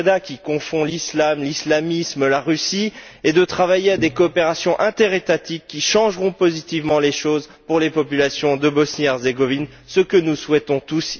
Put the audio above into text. Preda, qui confond l'islam, l'islamisme et la Russie et de travailler à des coopérations interétatiques qui changeront positivement les choses pour les populations de Bosnie Herzégovine, ce que nous souhaitons tous,